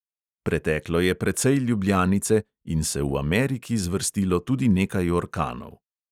Preteklo je precej ljubljanice in se v ameriki zvrstilo tudi nekaj orkanov.